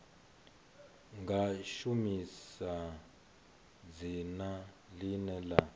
nga shumisa dzina ḽine ḽa